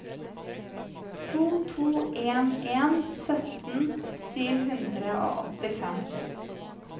to to en en sytten sju hundre og åttifem